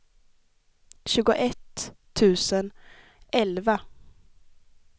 tjugoett tusen elva